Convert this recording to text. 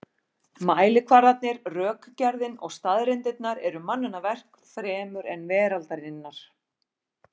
Mælikvarðarnir, rökgerðin og staðreyndirnar eru mannanna verk fremur en veraldarinnar.